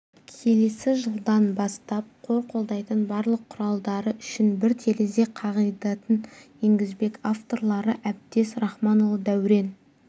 келесі жылдан бастап қор қолдайтын барлық құралдары үшін бір терезе қағидатын енгізбек авторлары әбдез рахманұлы дәурен